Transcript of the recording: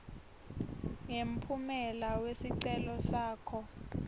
ngemphumela wesicelo sakho